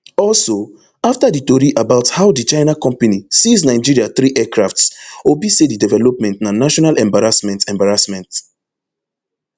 also afta di tori about how di china company seize nigeria three aircrafts obi say di development na national embarrassment embarrassment